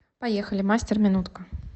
поехали мастер минутка